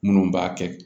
Minnu b'a kɛ